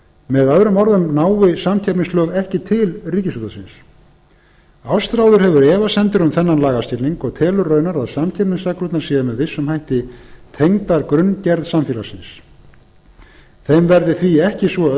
með öðrum orðum nái samkeppnislög ekki til ríkisútvarpsins ástráður hefur efasemdir um þennan lagaskilning og telur raunar að samkeppnisreglurnar séu með vissum hætti tengdar grunngerð samfélagsins þeim verði því ekki svo